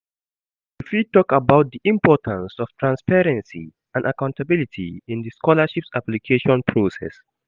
You fit talk about di importance of transparency and accountability in di scholarships application process.